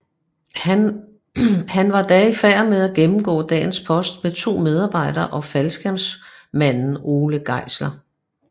Han var da i færd med at gennemgå dagens post med 2 medarbejdere og faldskærmsmanden Ole Geisler